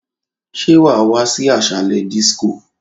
Ṣé wàá wá sí ásàlè dísíkò?